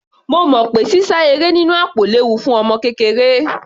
Mo mọ̀ pé sísá eré nínú àpò léwu fún ọmọ kékeré.